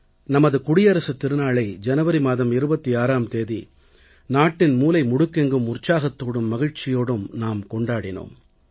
நமது குடியரசுத் திருநாளை ஜனவரி மாதம் 26ஆம் தேதி நாட்டின் மூலை முடுக்கெங்கும் உற்சாகத்தோடும் மகிழ்ச்சியோடும் நாம் கொண்டாடினோம்